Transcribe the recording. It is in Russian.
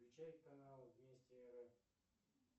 включай канал вести